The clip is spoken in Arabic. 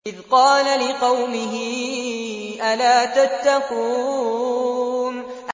إِذْ قَالَ لِقَوْمِهِ أَلَا تَتَّقُونَ